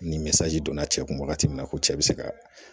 Ni donna cɛ kun wagati min na ko cɛ be se ka